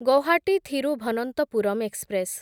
Guwahati Thiruvananthapuram express